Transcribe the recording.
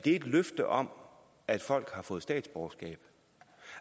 et løfte om at folk har fået statsborgerskab